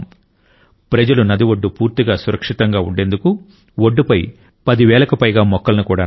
ప్రజలు నది ఒడ్డు పూర్తిగా సురక్షితంగా ఉండేందుకు ఒడ్డుపై 10 వేలకు పైగా మొక్కలను కూడా నాటారు